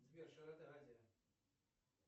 сбер широта азия